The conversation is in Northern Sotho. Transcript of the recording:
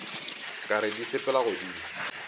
ka re di sepela godimo